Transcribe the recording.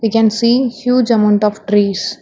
we can see huge amount of trees.